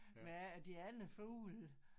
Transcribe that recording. Med at de andre fugle